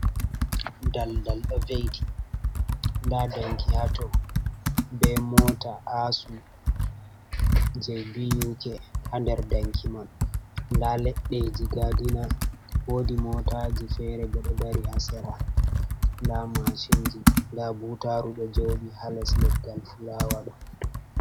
Dal dal ɗo veiti, nda danki hato, be mota asuu je BUK ha nder danki man, nda leɗɗeji gadina, wodi motaji fere bo ɗo dari ha sera, nda mashinji, nda butaru ɗo joɗi ha les leggal fulawa ɗo.